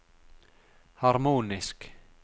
harmonisk